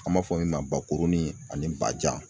An b'a fɔ min ma ba kurunin ani ba jan